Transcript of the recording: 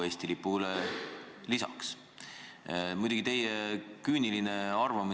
Ja Riigikogu nii talitaski, et pani Euroopa Liidu lipu Eesti lipu kõrvale.